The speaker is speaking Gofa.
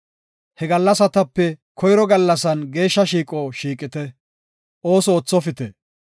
He gallasatape koyro gallasan geeshsha shiiqo shiiqite; ooso oothopite.